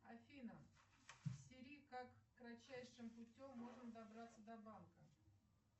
афина сири как кратчайшим путем можно добраться до банка